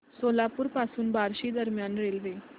सोलापूर पासून बार्शी दरम्यान रेल्वे